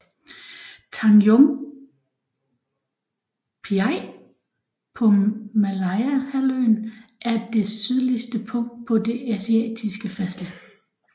Tanjung Piai på Malayahalvøen er det sydligste punkt på det asiatiske fastland